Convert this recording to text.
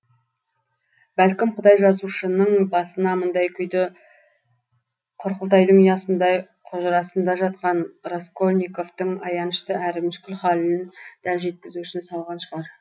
бәлкім құдай жазушының басына мұндай күйді құрқылтайдың ұясындай құжырасында жатқан раскольниковтың аянышты әрі мүшкіл халін дәл жеткізу үшін салған шығар